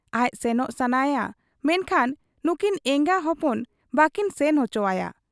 ᱟᱡ ᱥᱮᱱᱚᱜ ᱥᱟᱱᱟᱭᱟ ᱢᱮᱱᱠᱷᱟᱱ ᱱᱩᱠᱤᱱ ᱮᱸᱜᱟ ᱦᱚᱯᱚᱱ ᱵᱟᱠᱤᱱ ᱥᱮᱱ ᱚᱪᱚᱣᱟᱭᱟ ᱾